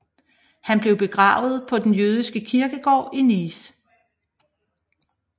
Han blev begravet på den jødiske kirkegård i Nice